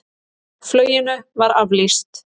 Fluginu var aflýst.